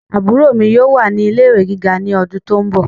Àbúrò mi yóò wà ní ilé ìwé gíga ní ọdún tó ń bọ̀